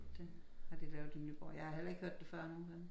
Det har de lavet i Nyborg jeg har heller ikke hørt det før nu vel